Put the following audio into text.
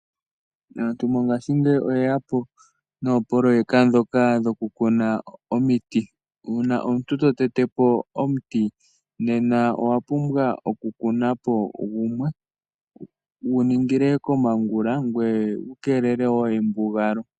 Aantu mongaashingeyi oyeyapo noo poloyeka dhokaa dhokukuna oomiti. Uuna omuntu totetepo omuti nena owapumbwaa okukuna po gumwe guningile komongula ngweye wukeelele woo embugalo.